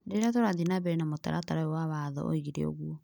rĩrĩa tũrathiĩ na mbere na mũtaratara ũyũ wa watho, oigire ũguo.